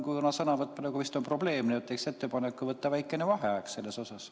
Kuna sõnavõtt praegu vist on probleem, teeksin ettepaneku võtta väike vaheaeg.